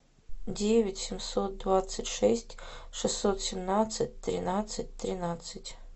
девять семьсот двадцать шесть шестьсот семнадцать тринадцать тринадцать